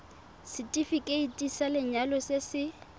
setefikeiti sa lenyalo se se